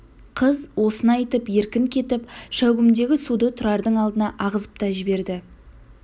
қыз осыны айтып еркін кетіп шәугімдегі суды тұрардың алдына ағызып та жіберді